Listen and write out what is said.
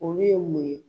Olu ye mun ye